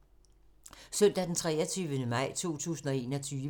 Søndag d. 23. maj 2021